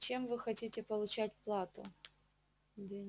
чем вы хотите получать плату